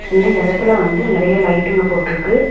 இந்த எடத்துல வந்து நெறைய லைட்டுங்க போட்ருக்கு.